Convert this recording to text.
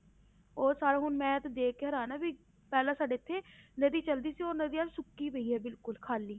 ਉਹ ਸਾਰਾ ਹੁਣ ਮੈਂ ਤੇ ਦੇਖ ਕੇ ਹੈਰਾਨ ਆਂ ਵੀ ਪਹਿਲਾਂ ਸਾਡੇ ਇੱਥੇ ਨਦੀ ਚੱਲਦੀ ਸੀ ਉਹ ਨਦੀ ਅੱਜ ਸੁੱਕੀ ਪਈ ਹੈ ਬਿਲਕੁਲ ਖਾਲੀ।